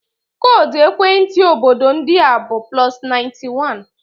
Koodu ekwentị obodo ndị a bụ +91.